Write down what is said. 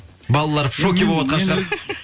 балалар в шоке болыватқан шығар